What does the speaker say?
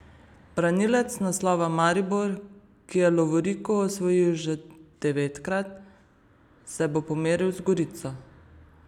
Branilec naslova Maribor, ki je lovoriko osvojil že devetkrat, se bo pomeril z Gorico.